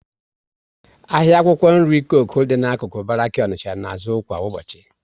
Ahịa akwụkwọ nri Coku dị n'akụkụ Baraki Onicha na azụ kwa ụbọchị